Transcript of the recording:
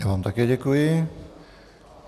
Já vám také děkuji.